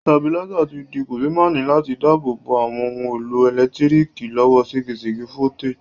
Stabilizer ti di kòsémaní láti dábò bo àwon oun èlò ẹ̀lẹ́ntíriki lọ́wọ́ ségesège voltage